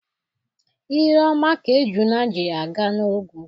Ire ọma ka ejule ji aga n' ogwu